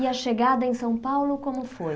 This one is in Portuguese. E a chegada em São Paulo como foi?